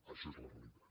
això és la realitat